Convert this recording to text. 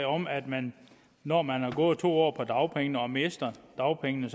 om at man når man har gået to år på dagpenge og mister dagpengene